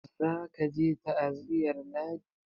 za ka je ta aziyar ladi!